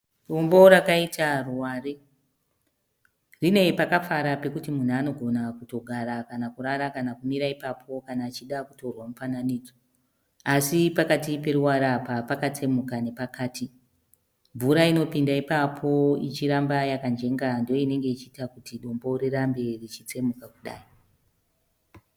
Dombo rakaita ruware rine pakafara pekuti munhu anogona kutogara kana kurara kana kumira ipapo kana achida kutorwa mufananidzo asi pakati peruware apa pakatsemuka nepakati mvura inopinda ipapo ichiramba yakajenga ndiyo inenge ichiita kuti dombo rirambe richitsemuka kudai.